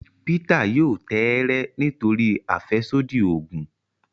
Peter yóò tẹẹrẹ nítorí afẹsodi oògùn